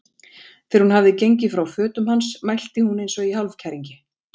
Þegar hún hafði gengið frá fötum hans mælti hún eins og í hálfkæringi